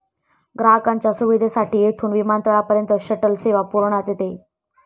ग्राहकांच्या सुविधेसाठी येथून विमानतळापर्यंत शटल सेवा पुरविण्यात येते.